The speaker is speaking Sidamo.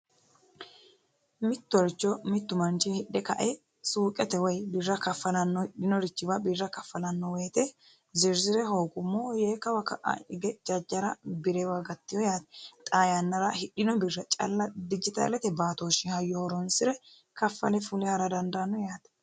Mittoricho mitu manchi hidhe kae suuqete birra kafalano woyte birra hooguummo yee kawa ka'a higa birewa gatino yaate xaa yannara hidhino birra calla dijitaalete hayyo calla horonsire kafale fule ha'ra dandaano yaate.